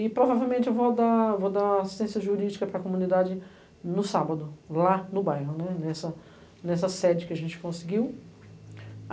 E, provavelmente, eu vou dar vou dar assistência jurídica para a comunidade no sábado, lá no bairro, né, nessa nessa sede que a gente conseguiu.